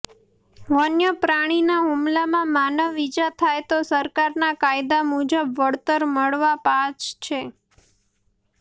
વન્ય પ્રાણીના હુમલામાં માનવ ઈજા થાય તો સરકારના કાયદાં મુજબ વળતર મળવા પાછ છે